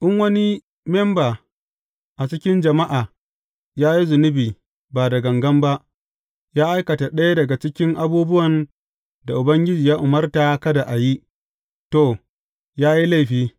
In wani memba a cikin jama’a ya yi zunubi ba da gangan ba, ya aikata ɗaya daga cikin abubuwan da Ubangiji ya umarta kada a yi, to, ya yi laifi.